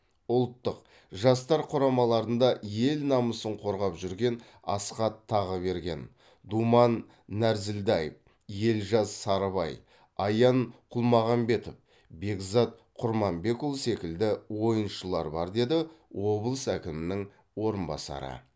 ұлттық жастар құрамаларында ел намысын қорғап жүрген асхат тағыберген думан нәрзілдаев елжас сарыбай аян құлмағанбетов бекзат құрманбекұлы секілді ойыншылар бар деді облыс әкімінің орынбасары